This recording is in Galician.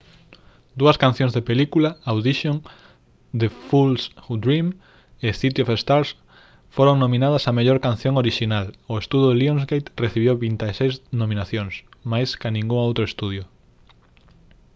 dúas cancións da película audition the fools who dream e city of stars foron nominadas a mellor canción orixinal. o estudio lionsgate recibiu 26 nominacións: máis ca ningún outro estudio